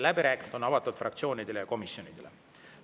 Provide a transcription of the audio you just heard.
Läbirääkimised on avatud fraktsioonidele ja komisjonidele.